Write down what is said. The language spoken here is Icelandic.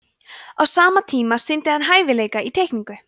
á sama tíma sýndi hann hæfileika í teikningu